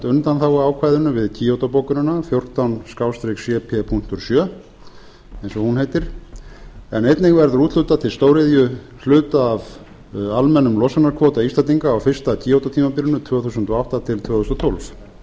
undanþáguákvæðinu við kyoto bókunina fjórtán cp sjö eins og hún heitir en einnig verður úthlutað til stóriðju hluta af almennum losunarkvóta íslendinga á fyrsta kyoto tímabilinu tvö þúsund og átta til tvö þúsund og tólf